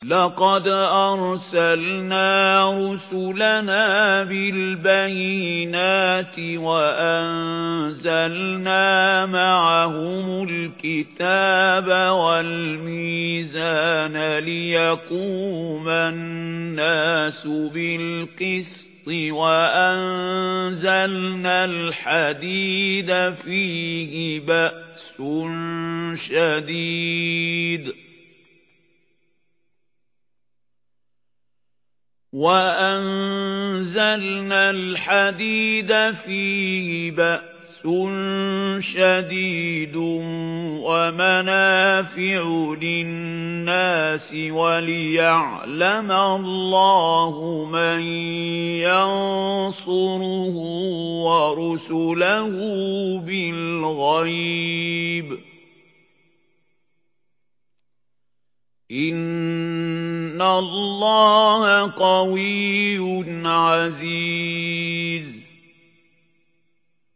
لَقَدْ أَرْسَلْنَا رُسُلَنَا بِالْبَيِّنَاتِ وَأَنزَلْنَا مَعَهُمُ الْكِتَابَ وَالْمِيزَانَ لِيَقُومَ النَّاسُ بِالْقِسْطِ ۖ وَأَنزَلْنَا الْحَدِيدَ فِيهِ بَأْسٌ شَدِيدٌ وَمَنَافِعُ لِلنَّاسِ وَلِيَعْلَمَ اللَّهُ مَن يَنصُرُهُ وَرُسُلَهُ بِالْغَيْبِ ۚ إِنَّ اللَّهَ قَوِيٌّ عَزِيزٌ